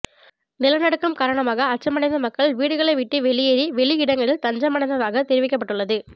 நிலநடுக்கம் காரணமாக அச்சமடைந்த மக்கள் வீடுகளை விட்டு வெளியேறி வெளியிடங்களில் தஞ்சமடைந்ததாக தெரிவிக்கப்பட்டுள்ளது